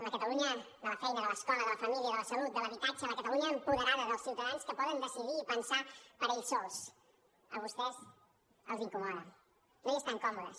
la catalunya de la feina de l’escola de la família de la salut de l’habitatge la catalunya apoderada dels ciutadans que poden decidir i pensar per ells sols a vostès els incomoda no hi estan còmodes